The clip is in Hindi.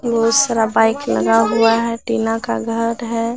बहुत सारा बाइक लगा हुआ है टीना का घर है।